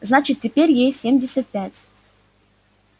значит теперь ей семьдесят пять